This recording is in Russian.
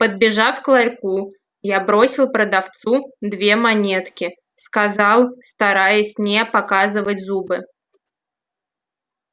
подбежав к ларьку я бросил продавцу две монетки сказал стараясь не показывать зубы